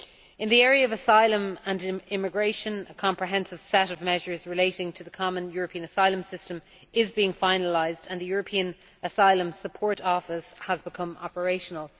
In the area of asylum and immigration, a comprehensive set of measures relating to the Common European Asylum System is being finalised and the European Asylum Support Office has become operational.